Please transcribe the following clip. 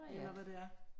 Eller hvad det er